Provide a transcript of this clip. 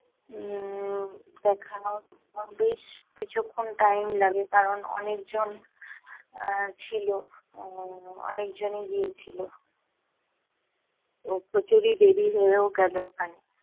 উম দেখানোর বেশ কিছুক্ষণ time লাগে, কারণ অনেক জন আহ ছিলো, আহ অনেকজনই গিয়েছিলো। তো প্রচুরই দেরী হয়েও গেলো ওখানে।